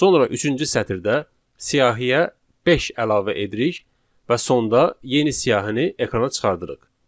Sonra üçüncü sətirdə siyahıya beş əlavə edirik və sonda yeni siyahını ekrana çıxarırıq.